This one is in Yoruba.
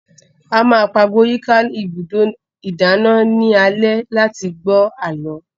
A máa pagbo yíká ibùdó ìdáná ní alẹ́ láti gbọ́ àlọ́